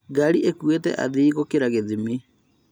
Ngari ĩkuĩte athii gũkĩra gĩthimi